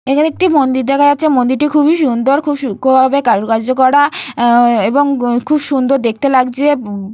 এখানে একটি মন্দির দেখা যাচ্ছে মন্দিরটি খুবই সুন্দর খুবই সূক্ষ্মভাবে কারোকার্য করা অ্যা অ্যা এবং খুব সুন্দর দেখতে লাগছে উ-উ --